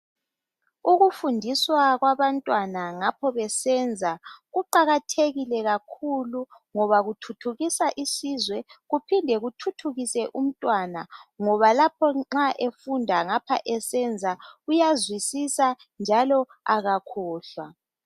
Ukufundiswa kwabantwana ngapho besenza kuqakathekile kakhulu ngoba kuthuthukisa isizwe kuphinde kuthuthukise umntwana ngoba lapho nxa efunda ngapho esenza uyazwisisa njalo kakhohlwa.